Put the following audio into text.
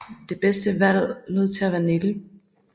Det bedste valg lod til at være nikkel